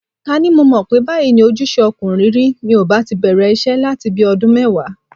Ká ní mo mọ̀ pé báyìí ni ojúṣe ọkùnrin rí, mi ò bá ti bẹ̀rẹ̀ iṣẹ́ láti bi ọdún mẹ́wàá.